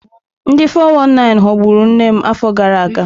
Ndị 419 ghọgburu nne m afọ gara aga.